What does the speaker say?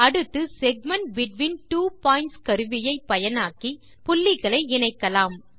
அடுத்து segment between two points கருவியை பயனாக்கி புள்ளிகளை இணைக்கலாம்